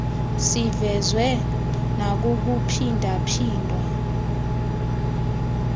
sivezwe nakukuphinda phindwa